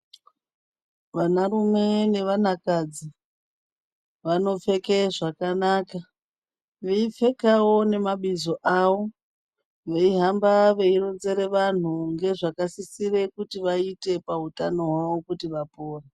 Vanarume nevanakadzi vanopfeka zvakanaka veipfekawo nemabizo avo veihamba veironzera vanhu ngezvakasisira kuti vaite pautano hwavo kuti vapore.